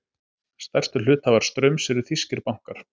Stærstu hluthafar Straums eru þýskir bankar